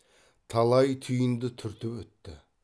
талай түйінді түртіп өтті